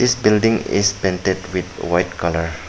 This building is painted with white colour.